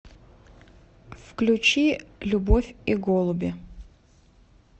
включи любовь и голуби